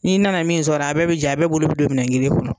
N'i nana min sɔrɔ a bɛɛ bi jɛ a bɛɛ bolo bi don minɛn kelen kɔnɔ